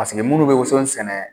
Paseke munnu bɛ woson sɛnɛ